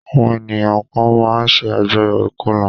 Àwọn ènìyàn kan máa ń ṣe àjọyò ìkọlà.